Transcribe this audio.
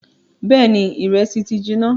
Bẹẹni ìrẹsì ti jiná